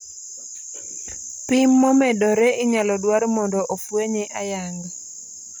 Pim momedore inyalo dwar mondo ofuenye ayanga